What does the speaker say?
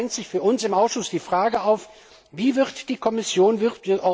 Deshalb drängt sich für uns im Ausschuss die Frage auf Wie wird die Kommission bzw.